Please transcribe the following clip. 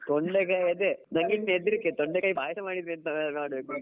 ತೊಂಡೆಕಾಯಿ ಅದೇ ನನ್ಗೆ ಎಂತ ಅದೇ ಹೆದ್ರಿಕೆ ತೊಂಡೆಕಾಯಿ ಪಾಯ್ಸ ಮಾಡಿದ್ರೆ ಎಂತ ಮಾಡ್ಬೇಕಂತ .